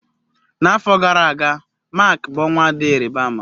N'afọ gara aga, Mak bụ ọnwa dị ịrịba ama.